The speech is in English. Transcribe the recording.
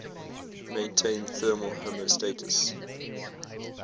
maintain thermal homeostasis